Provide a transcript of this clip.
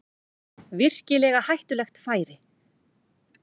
Virkilega hættulegt færi